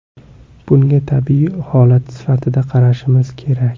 Bunga tabiiy holat sifatida qarashimiz kerak.